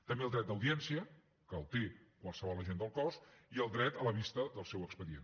també el dret d’audiència que el té qualsevol agent del cos i el dret a la vista del seu expedient